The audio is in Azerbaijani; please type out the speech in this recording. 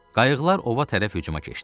Qayıqlar ova tərəf hücuma keçdi.